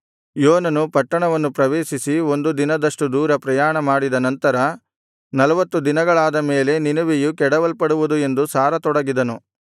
ಯೋನನು ಪಟ್ಟಣವನ್ನು ಪ್ರವೇಶಿಸಿ ಒಂದು ದಿನದಷ್ಟು ದೂರ ಪ್ರಯಾಣಮಾಡಿದ ನಂತರ ನಲವತ್ತು ದಿನಗಳಾದ ಮೇಲೆ ನಿನೆವೆಯು ಕೆಡವಲ್ಪಡುವುದು ಎಂದು ಸಾರತೊಡಗಿದನು